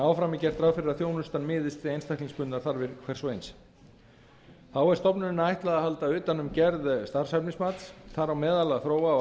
áfram er gert ráð fyrir að þjónustan miðist við einstaklingsbundnar þarfir hvers og eins þá er stofnuninni ætlað að halda utan um gerð starfshæfnismats þar á meðal að þróa og